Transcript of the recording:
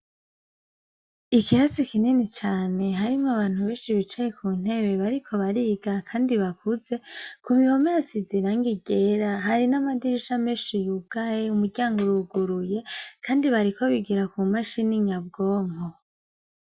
Ikirasi kinini cane, harimwo abantu beshi bicaye kuntebe bariko bariga kandi bakuze, kubihome hasize irangi ryera hari n'amadirisha menshi yugaye, umuryango uruguruye, kandi bariko bigira kumashine nyabwonko.